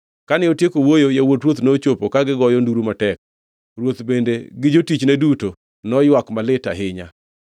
Kane otieko wuoyo, yawuot ruoth nochopo ka gigoyo nduru matek. Ruoth bende gi jotichne duto noywak malit ahinya.